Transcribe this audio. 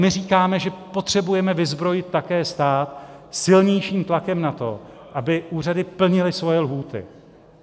My říkáme, že potřebujeme vyzbrojit také stát silnějším tlakem na to, aby úřady plnily svoje lhůty.